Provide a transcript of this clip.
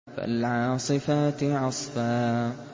فَالْعَاصِفَاتِ عَصْفًا